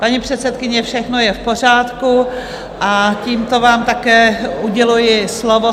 Paní předsedkyně, všechno je v pořádku a tímto vám také uděluji slovo.